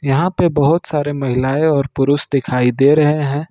यहां पे बहोत सारे महिलाएं और पुरुष दिखाई दे रहे हैं।